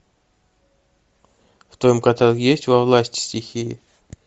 в твоем каталоге есть во власти стихии